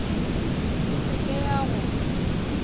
e se ke ya go